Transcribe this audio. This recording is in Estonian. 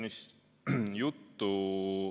Aitäh!